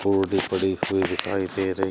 पौधे पड़े हुए दिखाई दे रही--